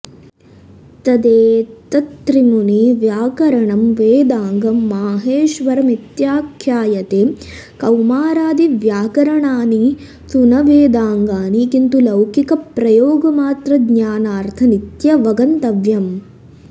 तदेतत्त्रिमुनि व्याकरणं वेदाङ्गं माहेश्वरमित्याख्यायते कौमारादिव्याकरणानि तु न वेदाङ्गानि किंतु लौकिकप्रयोगमात्रज्ञानार्थानीत्यवगन्तव्यम्